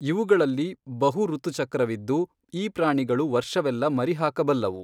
ಇವುಗಳಲ್ಲಿ ಬಹುಋತುಚಕ್ರವಿದ್ದು ಈ ಪ್ರಾಣಿಗಳು ವರ್ಷವೆಲ್ಲ ಮರಿ ಹಾಕಬಲ್ಲವು.